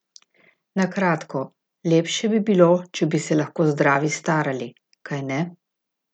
Na kratko, lepše bi bilo, če bi se lahko zdravi starali, kajne?